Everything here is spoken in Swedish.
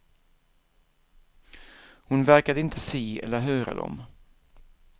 Hon verkade inte se eller höra dem.